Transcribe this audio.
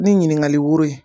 Ni ɲiniŋali woro ye